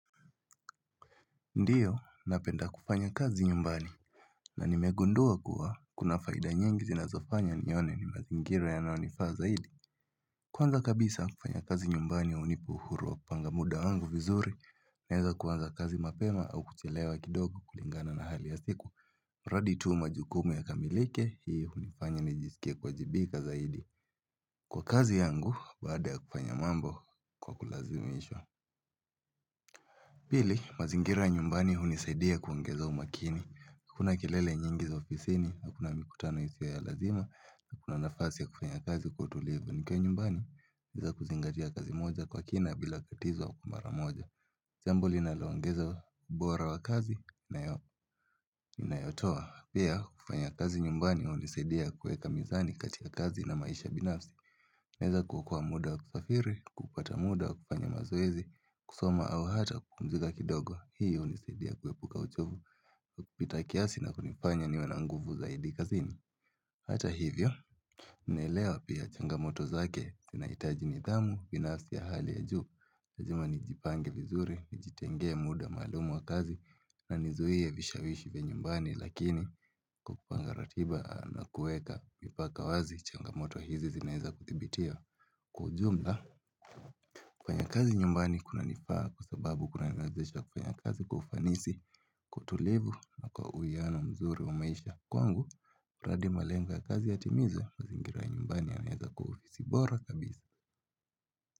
Ndiyo, napenda kufanyakazi nyumbani na nimegundua kuwa kuna faida nyingi zinazofanya nione ni mazingira yanayonifaa zaidi. Kwanza kabisa kufanya kazi nyumbani hunipa uhuru wa kupanga muda wangu vizuri naweza kuanza kazi mapema au kuchelewa kidogo kulingana na hali ya siku. Radi tuu majukumu yakamilike hii unifanya nijisikie kuwajibika zaidi. Kwa kazi yangu baada ya kufanya mambo kwa kulazimishwa Pili, mazingira ya nyumbani hunisaidia kuongeza umakini. Kuna kelele nyingi za ofisini, kuna mikutano isiyo ya lazima, na kuna nafasi ya kufanya kazi kwa utulivu. Nikiwa nyumbani, bila kuzingatia kazi moja kwa kina bila tatizo kwa mara moja. Jambo linaloongeza ubora wa kazi, na inayotoa. Pia kufanya kazi nyumbani hunisaidia kuweka mizani katika kazi na maisha binafsi. Kunaweza kuokoa muda wa kusafiri, kupata muda wa kufanya mazoezi, kusoma, au kupumzika kidogo, hii hunisaidia kuepuka uchovu, kupita kiasi na kunifanya niwe na nguvu zaidi kazini Hata hivyo, naelewa pia changamoto zake inahitaji nidhamu ya hali ya juu lazima ujipange vizuri, ujitenge muda maalumu wa kazi Najizuia vishawishi vya nyumbani lakini kwa kupanga ratiba nakuweka mipaka wazi changamoto hizi zinaweza kuthibitiwa. Kwa ujumla una kelele nyingi za ofisini, hakuna mikutano iti ya lazima, na kuna nafasi ya kufanya kazi kutulivu.